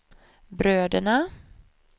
bröderna